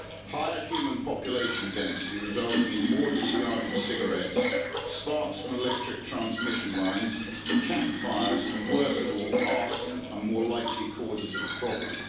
Higher human population density, resulting in more discarded cigarettes, sparks from electric transmission lines, campfires and, worst of all, arson are more likely causes of the problem.